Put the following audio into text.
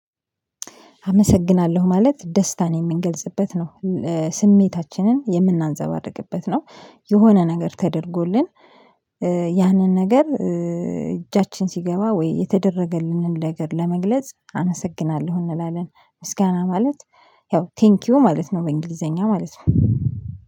አመሰግናለሁ ማለት ደስታን የምንገልጽበት ነው። ስሜታችንን የምናንጸባርቅበት ነው። የሆነ ነገር ተደርጎልን ያንን ነገር እጃችን ሲገባ ወይ የተደረገልንን ነገር ለመግለጽ አመስግናለሁ እንላለን። ምስጋና ማለት ያው ቴንኪው ማለት ነው በእንግሊዘኛ ማለት ነው።